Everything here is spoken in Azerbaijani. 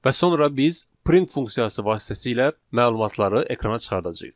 Və sonra biz print funksiyası vasitəsilə məlumatları ekrana çıxardacağıq.